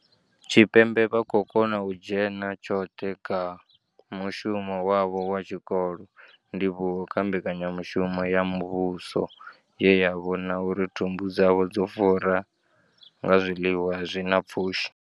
Tshipembe vha khou kona u dzhenela tshoṱhe kha mushumo wavho wa tshikolo, ndivhuwo kha mbekanyamushumo ya muvhuso ye ya vhona uri thumbu dzavho dzo fura nga zwiḽiwa zwi na pfushi.